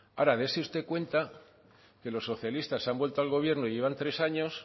ahora dese usted cuenta que los socialistas han vuelto al gobierno y llevan tres años